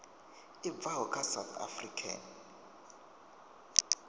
i bvaho kha south african